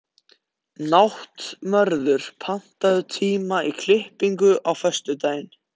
Náttmörður, pantaðu tíma í klippingu á föstudaginn.